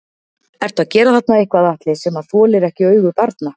Ertu að gera þarna eitthvað Atli sem að þolir ekki augu barna?